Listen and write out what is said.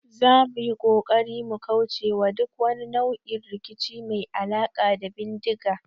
Zamu yi kokari mu kaucewa duk wani nau'in rikici mai alaka da bindiga